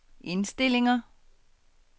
indstillinger